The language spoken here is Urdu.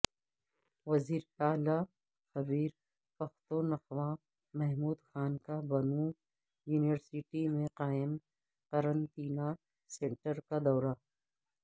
وزیراعلی خیبر پختونخوامحمود خان کا بنوں یونیورسٹی میں قائم قرنطینہ سنٹر کا دورہ